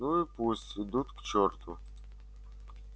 ну и пусть идут к чёрту